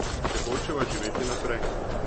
Če hočeva živeti naprej.